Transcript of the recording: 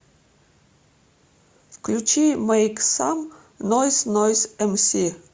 включи мэйк сам нойз нойз эмси